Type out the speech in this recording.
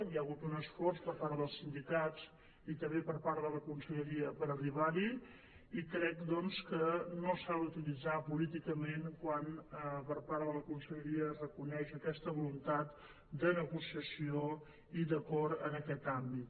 hi ha hagut un esforç per part dels sindicats i també per part de la conselleria per arribar hi i crec doncs que no s’ha d’utilitzar políticament quan per part de la conselleria es reconeix aquesta voluntat de negociació i d’acord en aquest àmbit